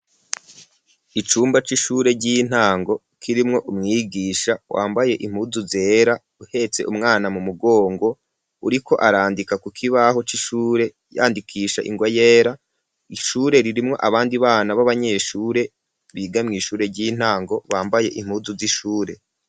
Icumba c'ishure ry'intango kirimwo umwigisha wambaye impuzu zera uhetse umwana mu mugongo uriko arandika ku kibaho c'ishure yandikisha ingwa yera ishure ririmwo abandi bana b'abanyeshure biga mwishure ry'intango bambaye impuzu z'ishure